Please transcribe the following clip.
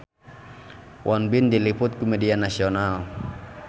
Won Bin diliput ku media nasional